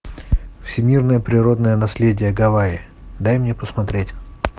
всемирное природное наследие гавайи дай мне посмотреть